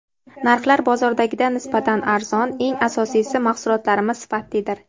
Narxlar bozordagidan nisbatan arzon, eng asosiysi, mahsulotlarimiz sifatlidir”.